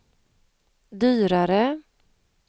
dyrare